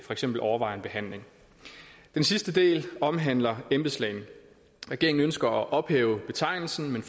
for eksempel overvejer en behandling den sidste del omhandler embedslægen regeringen ønsker at ophæve betegnelsen men